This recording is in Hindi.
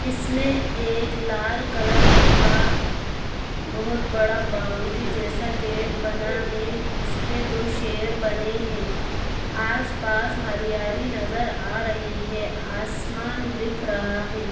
इसमें एक लाल कलर का बहुत बड़ा बाउन्ड्री जैसा गेट बना हैं उसमें दो शेर बने हैंआस-पास हरियाली नजर आ रही है आसमान दिख रहा है।